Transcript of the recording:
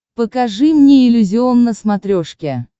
покажи мне иллюзион на смотрешке